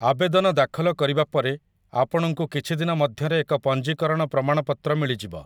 ଆବେଦନ ଦାଖଲ କରିବା ପରେ ଆପଣଙ୍କୁ କିଛି ଦିନ ମଧ୍ୟରେ ଏକ ପଞ୍ଜୀକରଣ ପ୍ରମାଣପତ୍ର ମିଳିଯିବ ।